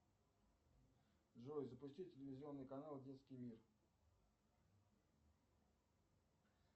джой запусти телевизионный канал детский мир